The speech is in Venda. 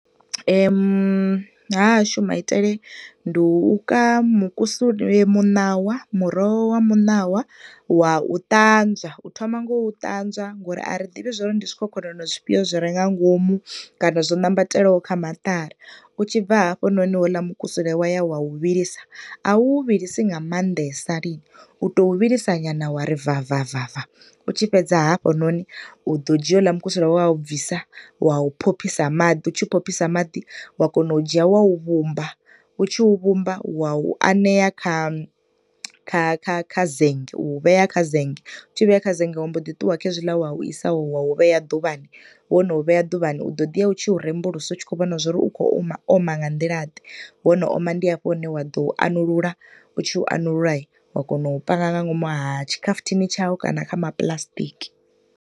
Ha hashu maitele ndi u ka mukusule, muṋawa, muroho wa muṋawa wa u ṱanzwa, u thoma nga u ṱanzwa ngo uri a ri ḓivhi ndi zwikhokhonono zwifhio zwi re ngangomu kana zwo nambatelaho kha maṱari. U tshi bva hafhanoni houḽa mukusule wa ya wa u vhilisa, a u wu vhilisa nga maanḓesa lini, u to u vhulisa nyana wa ri va va va va, u tshi fhedza hafhanoni u do dzhia houḽa mukusule wa u bvisa wa u phophisa maḓi. U tshi u phophisa maḓi, wa kona u dzhia wa u vhumba, u tshi u vhumba, wa u anea kha kha kha kha zenge, u vhea kha zanga, u tshi vhea kha zenge wa mbo ḓi ṱuwa khezwiḽa wa u isa wa u vhea ḓuvhani, wo no vheya ḓuvhani, u do ḓiya u tshi u rembulusa u tshi khou vhona zwauri u khou oma nga nḓila ḓe, wo no oma ndi hafho hune u ḓo anulula, u tshi anulula, wa panga nga ngomu ha tshikhafuthini tshawu kana nga ngomu ha ma puḽasitiki.